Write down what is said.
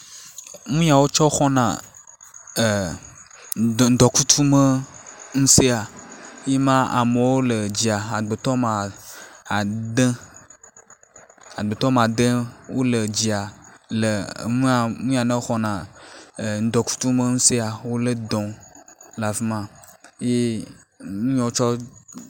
Nu yawo wotsɔ xɔna ŋdɔkutsume ŋusẽa ye ma amewo le dzia, amegbetɔ woame ade. Amegbetɔ woame ade wole dzia le nu ye mexɔna ŋdɔkutsume dɔ xɔm le afi ma.